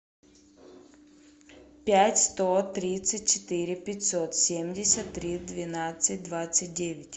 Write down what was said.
пять сто тридцать четыре пятьсот семьдесят три двенадцать двадцать девять